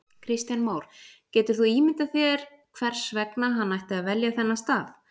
Kristján Már: Getur þú ímyndað þér hvers vegna hann ætti að velja þennan stað?